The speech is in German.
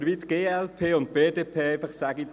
Wir sehen uns morgen.